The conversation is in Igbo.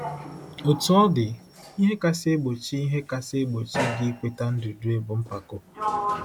Otú ọ dị, ihe kasị egbochi ihe kasị egbochi gị ikweta ndudue bụ mpako.